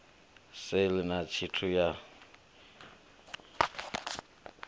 sale na tshithu na tshithihi